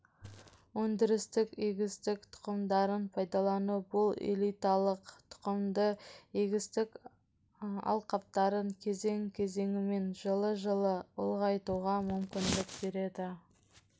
өндірістік егістік тұқымдарын пайдалану бұл элиталық тұқымды егістік алқаптарын кезең-кезеңімен жылы жылы ұлғайтуға мүмкіндік береді